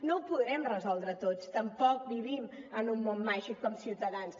no ho podrem resoldre tot tampoc vivim en un món màgic com ciutadans